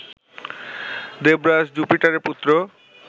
দেবরাজ জুপিটারের পুত্র